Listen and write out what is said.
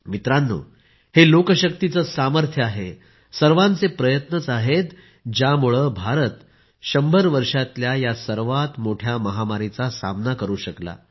मित्रांनो हे लोकशक्तीचेच सामर्थ्य आहे सर्वांचे प्रयत्नच आहेत ज्यामुळे भारत 100 वर्षातल्या या सर्वात मोठ्या महामारीचा सामना करु शकला